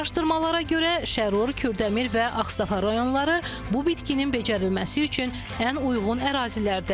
Araşdırmalara görə Şərur, Kürdəmir və Ağstafa rayonları bu bitkinin becərilməsi üçün ən uyğun ərazilərdir.